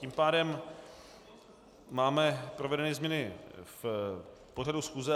Tím pádem máme provedeny změny v pořadu schůze.